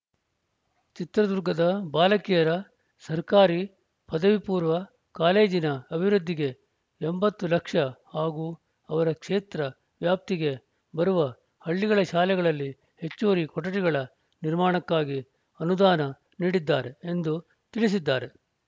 ಚಿತ್ರದುರ್ಗದ ಬಾಲಕಿಯರ ಸರ್ಕಾರಿ ಪದವಿ ಪೂರ್ವ ಕಾಲೇಜಿನ ಅಭಿವೃದ್ಧಿಗೆ ಎಂಬತ್ತು ಲಕ್ಷ ಹಾಗೂ ಅವರ ಕ್ಷೇತ್ರ ವ್ಯಾಪ್ತಿಗೆ ಬರುವ ಹಳ್ಳಿಗಳ ಶಾಲೆಗಳಲ್ಲಿ ಹೆಚ್ಚುವರಿ ಕೊಠಡಿಗಳ ನಿರ್ಮಾಣಕ್ಕಾಗಿ ಅನುದಾನ ನೀಡಿದ್ದಾರೆ ಎಂದು ತಿಳಸಿದ್ದಾರೆ